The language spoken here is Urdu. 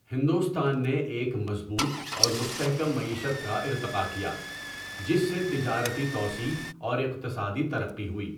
ہندوستان نے ایک مضبوط اور مستحکم معیشت کا ارتقا کیا، جس سے تجارتی توسیع اور اقتصادی ترقی ہوئی۔